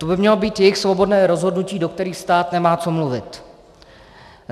To by mělo být jejich svobodné rozhodnutí, do kterého stát nemá co mluvit.